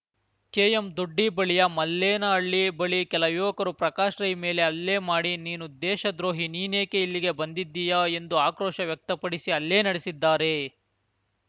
KM Doddi ಬಳಿಯ ಮಲ್ಲೇನಹಳ್ಳಿ ಬಳಿ ಕೆಲ ಯುವಕರು ಪ್ರಕಾಶ್‌ ರೈ ಮೇಲೆ ಹಲ್ಲೆ ಮಾಡಿ ನೀನು ದೇಶ ದ್ರೋಹಿ ನೀನೇಕೆ ಇಲ್ಲಿಗೆ ಬಂದಿದ್ದೀಯಾ ಎಂದು ಆಕ್ರೋಶ ವ್ಯಕ್ತಪಡಿಸಿ ಹಲ್ಲೆ ನಡೆಸಿದ್ದಾರೆ